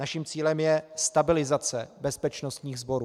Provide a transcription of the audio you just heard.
Naším cílem je stabilizace bezpečnostních sborů.